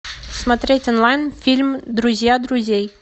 смотреть онлайн фильм друзья друзей